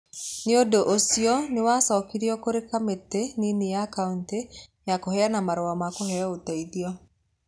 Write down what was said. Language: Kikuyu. Nĩ ũndũ ũcio nĩ wacokirio kũrĩ kamĩtĩ nini ya kaunti ya kũheana marũa ma kũheo ũteithio.